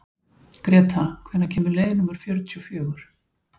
Gréta, hvenær kemur leið númer fjörutíu og fjögur?